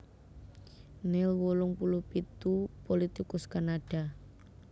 Neil wolung puluh pitu pulitikus Kanada